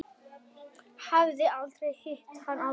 Hafði aldrei hitt hann áður.